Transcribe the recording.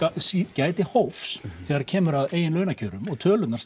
gæti hófs þegar kemur að eigin launakröfum og tölurnar